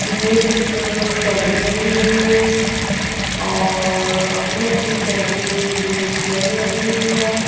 ये कुछ अ केबिन बने हुए हैं और अपने अपने केबिन में जो चेयर लगी हुई है।